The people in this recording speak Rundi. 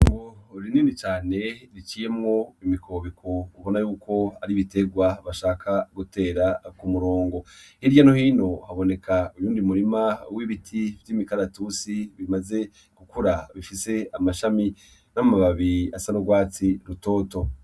Itongo rinini cane riciyeko imikobeko ubona yuko ari ibiterwa bashaka gutera ku murongo hirya no hino haboneka uyundi murima w'ibiti vy'imikaratusi bimaze gukura bifise amashami n'amababi asa n'urwatsi rutoto